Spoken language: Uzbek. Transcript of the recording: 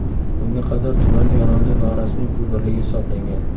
Bunga qadar tuman Eronda norasmiy pul birligi hisoblangan.